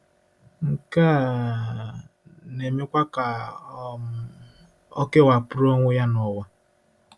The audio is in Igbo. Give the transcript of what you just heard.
Nke um a na-emekwa ka um ọ kewapụrụ onwe ya n'ụwa.